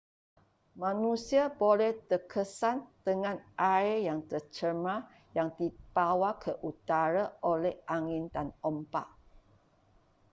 manusia boleh terkesan dengan air yang tercemar yang dibawa ke udara oleh angin dan ombak